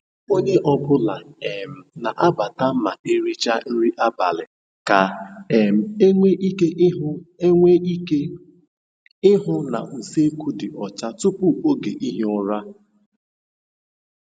Onye ọ bụla um n'abata ma ericha nri abalị ka um enwe ike ihu enwe ike ihu na usekwu dị ọcha tupu oge ihi um ụra.